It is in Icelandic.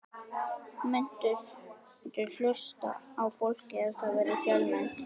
Muntu hlusta á fólkið ef það verður fjölmennt?